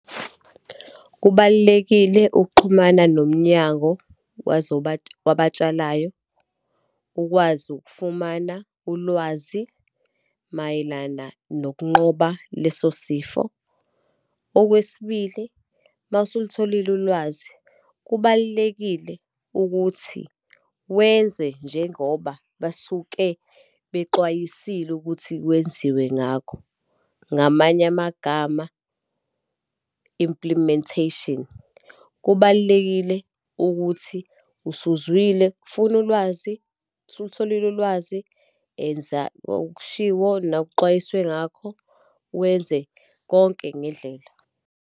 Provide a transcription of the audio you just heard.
Kubalulekile ukuxhumana nomnyango wabatshalayo, ukwazi ukufumana ulwazi mayelana nokunqoba leso sifo. Okwesibili, uma usulutholile ulwazi, kubalulekile ukuthi wenze njengoba basuke bexwayisile ukuthi kwenziwe ngakho, ngamanye amagama implementation. Kubalulekile ukuthi usuzwile, funa ulwazi, usulutholile ulwazi, enza okushiwo nokuxwayiswe ngakho, wenze konke ngendlela.